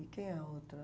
E quem é a outra?